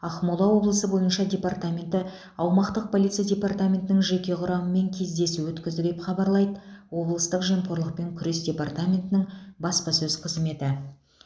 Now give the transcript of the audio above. ақмола облысы бойынша департаменті аумақтық полиция департаментінің жеке құрамымен кездесу өткізді деп хабарлайды облыстық жемқорлықпен күрес департаментінің баспасөз қызметі